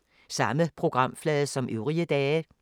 Samme programflade som øvrige dage